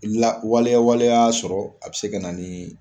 La waleya waley'a sɔrɔ a be se ka na nin